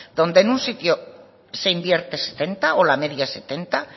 donde en un sitio se invierte setenta o la media es setenta